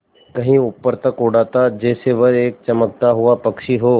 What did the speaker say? कहीं ऊपर तक उड़ाता जैसे वह एक चमकता हुआ पक्षी हो